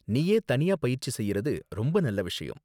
நீயே தனியா பயிற்சி செய்யறது ரொம்ப நல்ல விஷயம்.